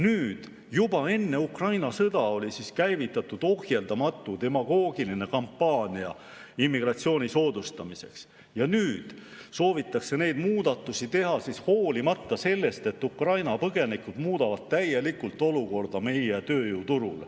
Nüüd, juba enne Ukraina sõda oli käivitatud ohjeldamatu demagoogiline kampaania immigratsiooni soodustamiseks ja nüüd soovitakse neid muudatusi teha hoolimata sellest, et Ukraina põgenikud muudavad täielikult olukorda meie tööjõuturul.